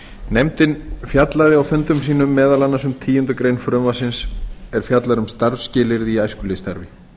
nefndin fjallaði á fundum sínum meðal annars um tíundu greinar frumvarpsins er fjallar um starfsskilyrði í æskulýðsstarfi